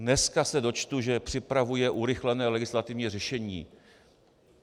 Dneska se dočtu, že připravuje urychlené legislativní řešení.